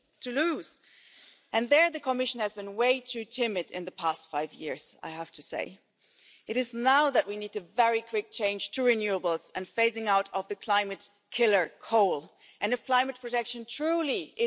from east to west. Because if Europe loses on democracy, then it will lose itself. And this is about more than one country or another country this is about the achievements on this continent that so many people